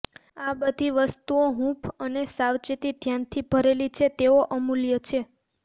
આ બધી વસ્તુઓ હૂંફ અને સાવચેત ધ્યાનથી ભરેલી છે તેઓ અમૂલ્ય છે